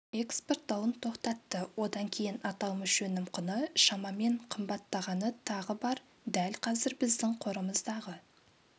экспорттауын тоқтатты одан кейін аталмыш өнім құны шамамен қымбаттағаны тағы бар дәл қазір біздің қорымыздағы